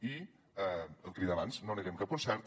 i el que li deia abans no neguem cap concert